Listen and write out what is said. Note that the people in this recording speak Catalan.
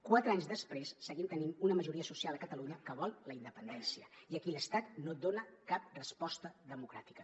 quatre anys després seguim tenint una majoria social a catalunya que vol la independència i a qui l’estat no dona cap resposta democràtica